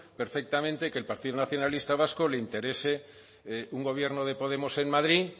perfectamente que al partido nacionalista vasco le interese un gobierno de podemos en madrid